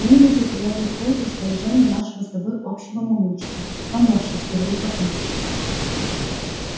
я не люблю когда ты используешь выражения нашего с тобой общего мамульчика поморщившись говорит папульчик